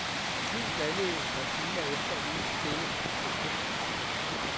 Flyet landede et par timer efter lige så stille på kysten.